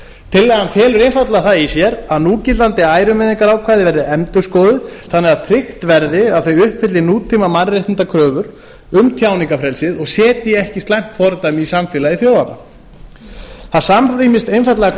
tillagan felur einfaldlega í sér að núgildandi ærumeiðingarákvæði verði endurskoðuð þannig að tryggt verði að þau uppfylli nútíma mannréttindakröfur um tjáningarfrelsið og setji ekki slæmt fordæmi í samfélagi þjóðanna það samrýmist einfaldlega